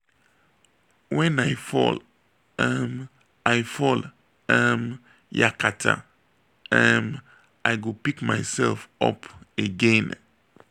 wen i fall um i fall um yakata um i go pick myself up again.